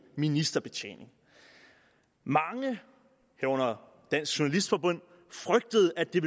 ministerbetjening mange herunder dansk journalistforbund frygtede at det